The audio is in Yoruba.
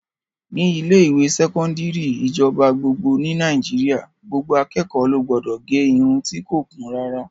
Ní ilé-ìwé sẹkọndiri ìjọba gbogbo ní Nàìjíríà, gbogbo akẹ́kọ̀ọ́ ló gbọdọ̀ gẹ irun ti kò kún rárá.